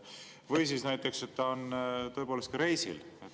Või siis näiteks, et ta on tõepoolest reisil.